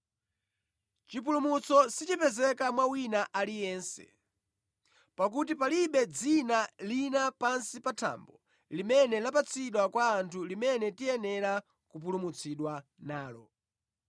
Chipulumutso sichipezeka mwa wina aliyense; pakuti palibe dzina lina pansi pa thambo limene lapatsidwa kwa anthu limene tiyenera kupulumutsidwa nalo.”